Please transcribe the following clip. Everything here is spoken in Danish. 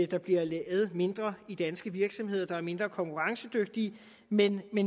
der bliver lavet mindre i de danske virksomheder der er mindre konkurrencedygtige men